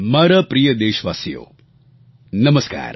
મારા પ્રિય દેશવાસીઓ નમસ્કાર